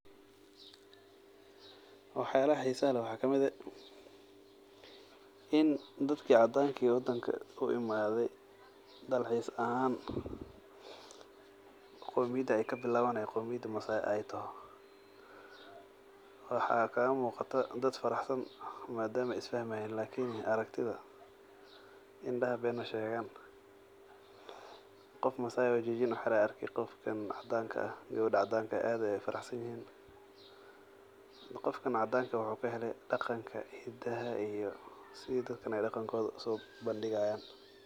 Waxyalaha xisaha leeh waxa kaamid eh in dadki cadanka ee uimaade wadanka dalxiis ahan qomiyada y kabilwan ey qomiyada masay ey toho waxa kagamuqdo dad faraxsan madama ey isfahmayan lakin aragtida indaha been mashegan qof masay oo jijin uxirayo aya arki qofkan cadanka ah gawada cadanka ah aad ayey ufaraxsanyihn qofkan cadanka wuxu kahele daqanka hidaha iyo sidey dadka daqankoda usobandigayan.